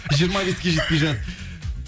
жиырма беске жетпей жатып